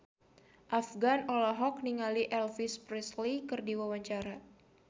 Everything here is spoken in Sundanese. Afgan olohok ningali Elvis Presley keur diwawancara